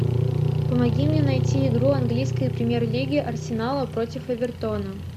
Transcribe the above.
помоги мне найти игру английской премьер лиги арсенала против эвертона